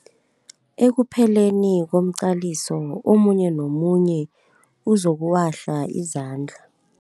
Ekupheleni komqaliso omunye nomunye uzokuwahla izandla.